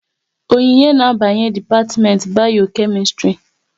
Onyinye na abanye dipatiment Bayo-Kemistri